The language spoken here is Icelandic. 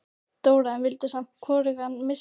Dóra, en vildi samt hvorugan missa.